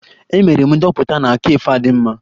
Emere m ndoputa na cafe a dị mma